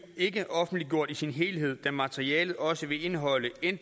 ikke offentliggjort i sin helhed da materialet også vil indeholde